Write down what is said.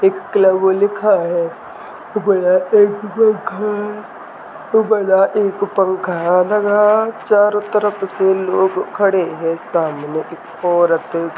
एक क्लब लिखा है एक पन्खा है लगा हुआ है और लग रहा है चारों तरफ इसमें लोग खड़े हैं स्थान एक औरत